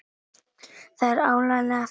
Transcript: Þær eru áreiðanlega þúsund!!